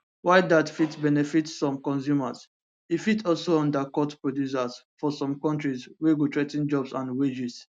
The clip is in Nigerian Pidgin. while dat fit benefit some consumers e fit also undercut producers for some kontris wey go threa ten jobs and wages